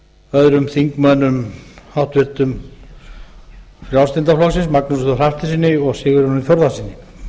öðrum háttvirtum þingmönnum frjálslynda flokksins magnúsi þór hafsteinssyni og sigurjóni þórðarsyni